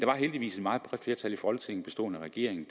var heldigvis et meget bredt flertal i folketinget bestående af regeringen